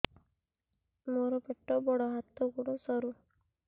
ମୋର ପେଟ ବଡ ହାତ ଗୋଡ ସରୁ